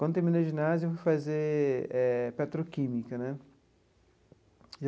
Quando terminei o ginásio, fui fazer eh petroquímica né.